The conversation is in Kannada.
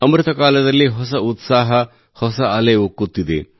ಅಮೃತಕಾಲದಲ್ಲಿ ಹೊಸ ಉತ್ಸಾಹ ಹೊಸ ಅಲೆ ಉಕ್ಕುತ್ತಿದೆ